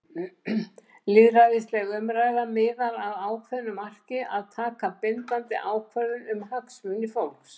Lýðræðisleg umræða miðar að ákveðnu marki- að taka bindandi ákvörðun um hagsmuni fólks.